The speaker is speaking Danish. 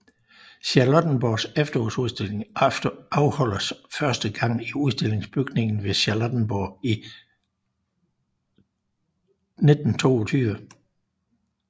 Charlottenborgs Efterårsudstilling afholdtes første gang i Udstillingsbygningen ved Charlottenborg i 1922